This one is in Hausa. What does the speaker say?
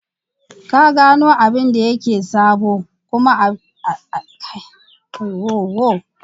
Ka gano abin da yake sabo kuma a cikin lokacin sa ta ziyartar kasuwar manoman unguwar ku.